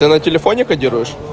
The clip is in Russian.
ты на телефоне кодируешь